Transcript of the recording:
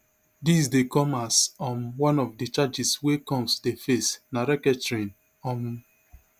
dis dey come as um one of di charges wey combs dey face na racketring um